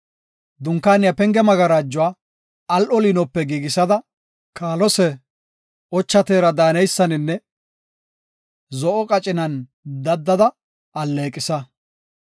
“Dunkaaniya penge magarajuwa, al7o liinope giigisada, kaalose, ocha teera daaneysaninne zo7o qacinan daddada alleeqisa.